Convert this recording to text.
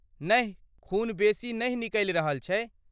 नहि खून बेसी नहि निकलि रहल छै ।